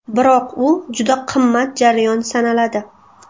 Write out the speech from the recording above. Biroq u juda qimmat jarayon sanaladi.